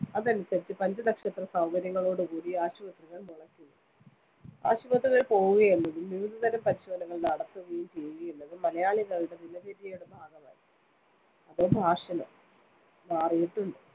അതനുസരിച്ച്‌ പഞ്ചനക്ഷത്ര സൗകര്യങ്ങളോട്‌ കൂടി ആശുപത്രികൾ മുളക്കുന്നു. ആശുപത്രികളിൽ പോകുകയെന്നതും വിവിധതരം പരിശോധനകൾ നടത്തുകയും ചെയ്യുകയെന്നതും മലയാളികളുടെ ദിനചര്യയുടെ ഭാഗമായി. അതോ fashion ഓ? മാറിയിട്ടുണ്ട്‌.